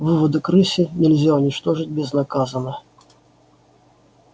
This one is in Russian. выводок рыси нельзя уничтожить безнаказанно